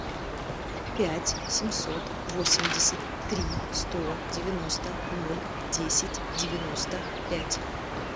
пять семьсот восемьдесят три сто девяносто ноль десять девяносто пять